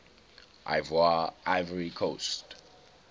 ivoire ivory coast